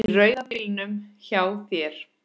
Í rauða bílnum hjá þér.